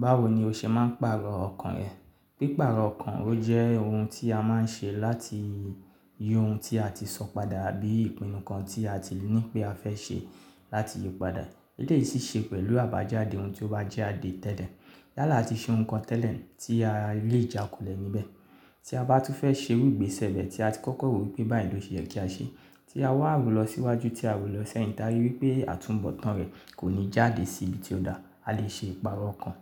Báwo ni o ṣe máa ń pàrọ̀ ọkàn rẹ? Pípààrọ̀ ọkàn ọ jẹ́ ohun tí a máa ń ṣe láti yí ohun tí a tí sọ padà àbí ìpinnu kan tí a ti ní pé a fẹ́ ṣe láti yí padà. Elèyi sì ṣe pẹ̀lú àbájáde ohun tí ó bá jadé tẹ́lẹ̀. Yálà a tí ṣe ohun kan tẹ́lẹ̀ tí a lè jàkulẹ̀ níbẹ̀, tí a bá tún fẹ́ ṣe irúgbìn sẹ́bẹ̀ tí a ti kọ́kọ́ wí pé báyìí ló ṣe kí a ṣe, tí a wá ro lọ síwájú tí a wò lọ sẹ́yìn táa rí wí pé àtúnbọ̀tán rẹ̀ kò ní jáde sí ibi tí ó dáa, a lè ṣe ìpààrọ̀ ọkàn.